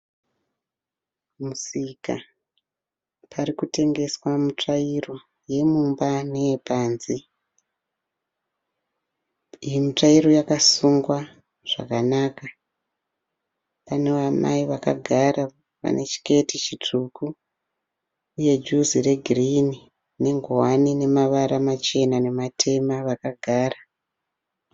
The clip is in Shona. Musika. Pari kutengeswa mitsvairo yemumba neyepanze. Iyi mitsvairo yakasungwa zvakanaka. Pana amai vakagara vane chiketi chitsvuku uye juzi regirini nengowani ine mavara machena namatema vakagara.